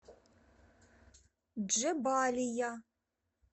джебалия